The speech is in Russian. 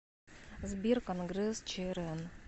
сбер конгресс чрн